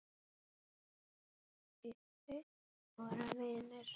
Því þeir voru vinir.